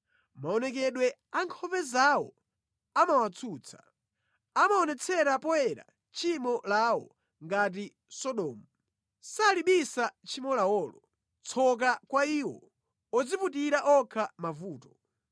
Maonekedwe a nkhope zawo amawatsutsa; amaonetsera poyera tchimo lawo ngati Sodomu; salibisa tchimo lawolo. Tsoka kwa iwo odziputira okha mavuto.